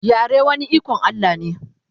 yare wani iKon Allah ne